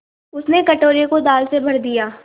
उसने कटोरे को दाल से भर दिया